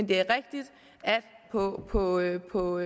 det er rigtigt at på at på